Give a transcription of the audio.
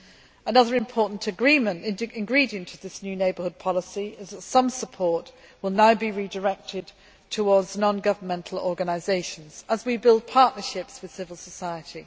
Another important ingredient of this new Neighbourhood Policy is that some support will now be redirected towards non governmental organisations as we build partnerships with civil society.